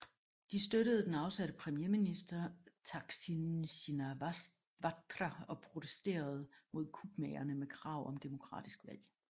De støttede den afsatte premierminister Thaksin Shinawatra og protesterede mod kupmagerne med krav om demokratisk valg